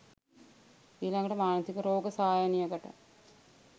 ඊලඟට මානසික රෝග සායනයකට